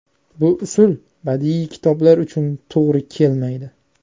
Bu usul badiiy kitoblar uchun to‘g‘ri kelmaydi.